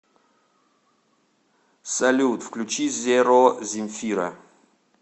салют включи зеро земфира